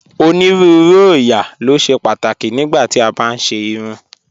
Onírùúrù oóyà lo ṣẹ̀ pátákì nígbà tí a bá n ṣè irùn